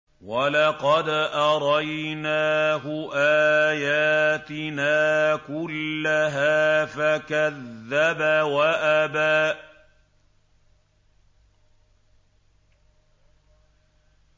وَلَقَدْ أَرَيْنَاهُ آيَاتِنَا كُلَّهَا فَكَذَّبَ وَأَبَىٰ